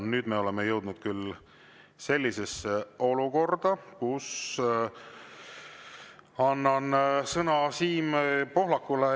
Nüüd me oleme jõudnud küll olukorda, kus annan sõna Siim Pohlakule.